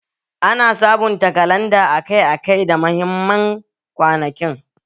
Ana sabunta kalanda akai-akai da mahimman kwanakin